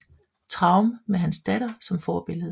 Traum med hans datter som forbillede